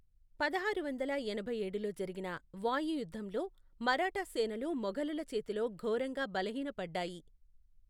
పదహారు వందల ఎనభై ఏడులో జరిగిన వాయి యుద్ధంలో మరాఠా సేనలు మొఘలుల చేతిలో ఘోరంగా బలహీనపడ్డాయి.